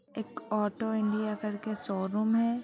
एक auto India करके showroom है।